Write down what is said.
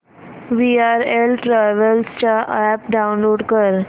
VRL travels चा app download कर